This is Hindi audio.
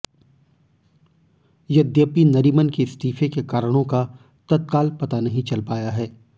यद्यपि नरीमन के इस्तीफे के कारणों का तत्काल पता नहीं चल पाया है